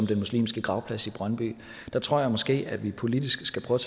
den muslimske gravplads i brøndby tror jeg måske at vi politisk skal prøve